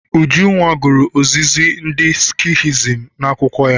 Ujunwa gụrụ ozizi ndị Skihism n'akwụkwọ ya.